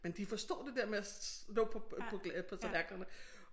Men de forstod det der med at slå på på på tallerkenerne